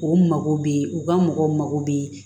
U mago bɛ u ka mɔgɔw bɛ